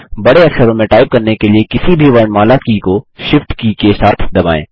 बड़े अक्षरों में टाइप करने के लिए किसी भी वर्णमाला की को Shift की के साथ दबाएँ